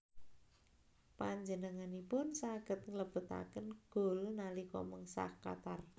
Panjenenganipun saged nglebetaken gol nalika mengsah Qatar